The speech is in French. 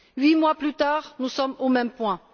Huit mois plus tard, nous en sommes au même point.